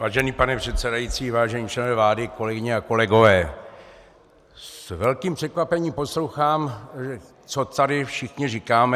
Vážený pane předsedající, vážení členové vlády, kolegyně a kolegové, s velkým překvapením poslouchám, co tady všichni říkáme.